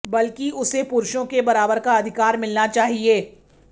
बल्कि उसे पुरूषों के बराबर का अधिकार मिलना चाहिए